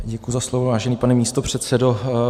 Děkuji za slovo, vážený pane místopředsedo.